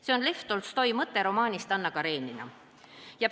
" See on Lev Tolstoi mõte romaanist "Anna Karenina".